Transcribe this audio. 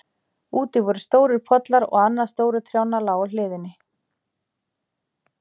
Úti voru stórir pollar og annað stóru trjánna lá á hliðinni.